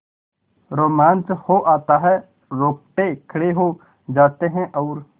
रोमांच हो आता है रोंगटे खड़े हो जाते हैं और